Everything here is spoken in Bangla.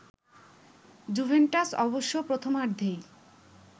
জুভেন্টাস অবশ্য প্রথমার্ধেই